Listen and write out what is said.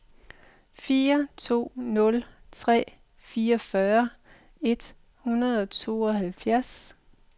fire to nul tre fireogfyrre et hundrede og tooghalvfjerds